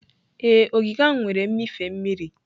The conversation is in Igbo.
Ee, ogige ahụ nwere mmịfe mmiri.